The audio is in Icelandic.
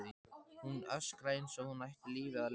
Hún öskraði eins og hún ætti lífið að leysa.